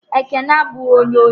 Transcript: Ekene abụghị onye ochi